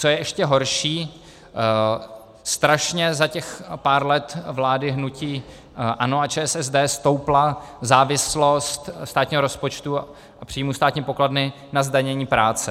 Co je ještě horší - strašně za těch pár let vlády hnutí ANO a ČSSD stoupla závislost státního rozpočtu a příjmů státní pokladny na zdanění práce.